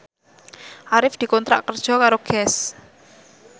Arif dikontrak kerja karo Guess